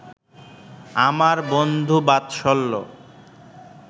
আর বন্ধুবাৎসল্য